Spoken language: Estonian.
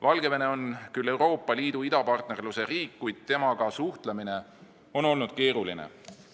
Valgevene on küll Euroopa Liidu idapartnerluse riik, kuid temaga suhtlemine on olnud keeruline.